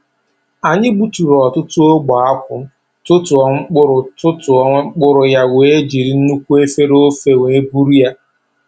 Anyi gbuturu ọtụtụ ogbe akwụ, tụtụọ mkpụrụ tụtụọ mkpụrụ ya wee jiri nnukwu efere ofe wee buru ya